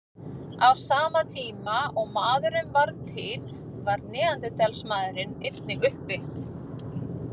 Á sama tíma og maðurinn varð til var neanderdalsmaðurinn einnig uppi.